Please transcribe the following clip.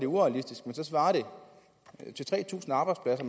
urealistisk så svarer det til tre tusind arbejdspladser